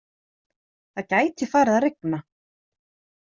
Það gæti farið að rigna